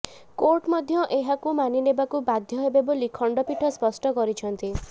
court ମଧ୍ୟ ଏହାକୁ ମାନିନେବାକୁ ବାଧ୍ୟ ହେବେ ବୋଲି ଖଣ୍ଡପୀଠ ସ୍ପଷ୍ଟ କରିଛନ୍ତି